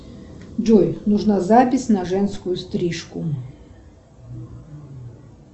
джой нужна запись на женскую стрижку